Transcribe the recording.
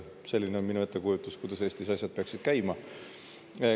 Selline on minu ettekujutus, kuidas Eestis asjad peaksid käima.